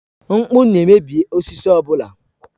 Mkpụ na-emebi osisi ọ bụla.